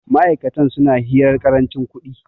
ma'aikatan suna hirar karancin kudi